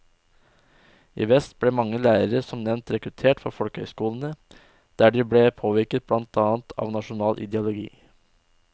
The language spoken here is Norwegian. I vest ble mange lærere som nevnt rekruttert fra folkehøyskolene, der de ble påvirket blant annet av nasjonal ideologi.